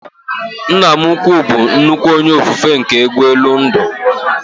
Nna m ukwuu bụ nnukwu onye ofufe nke egwu elu ndụ